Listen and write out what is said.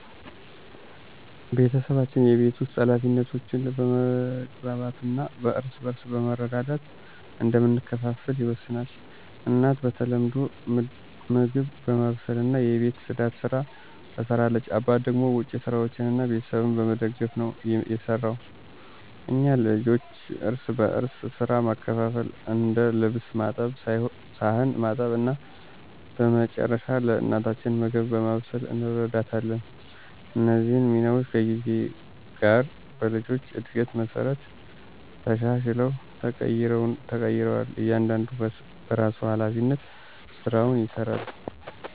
ቤተሰባችን የቤት ውስጥ ኃላፊነቶችን በመግባባት እና እርስ በርስ በመረዳዳት እንደምንከፋፈል ይወሰናል። እናት በተለምዶ ምግብ በማብሰልና የቤት ጽዳትን ስራ ትሰራለች አባት ደግሞ ውጭ ስራዎችን እና ቤተሰቡን በመደገፍ ነው የሰራው። እኛ ልጆችም እርስ በርስ ሥራ በመካፈል እንደ ልብስ ማጠብ ሳህን ማጠብ እና በመጨረሻ ለእናታችን ምግብ በማብሰል እንረዳታለን። እነዚህ ሚናዎች ከጊዜ ጋር በልጆች እድገት መሠረት ተሻሽለው ተቀይረዋል እያንዳንዱ በራሱ ሀላፊነት ስራውን ይሰራል።